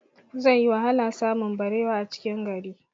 Zai yi wahala samun barewa a cikin gari